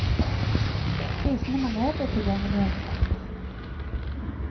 Prisene må ned og tilgjengeligheten opp.